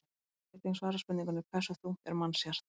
Hér er einnig svarað spurningunni: Hversu þungt er mannshjarta?